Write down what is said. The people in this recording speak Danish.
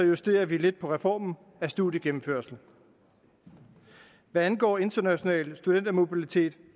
justerer vi lidt på reformen af studiegennemførsel hvad angår international studentermobilitet